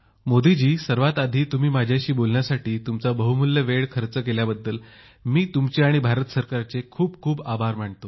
मोदीजी सर्वात आधी तुम्ही माझ्याशी बोलण्यासाठी तुमचा बहुमूल्य वेळ खर्च केल्याबद्दल मी तुमचे आणि भारत सरकारचे खूप खूप आभार मानतो